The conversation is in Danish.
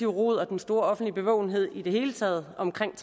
rod og den store offentlige bevågenhed i det hele taget omkring